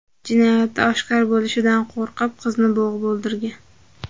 jinoyati oshkor bo‘lishidan qo‘rqib qizni bo‘g‘ib o‘ldirgan.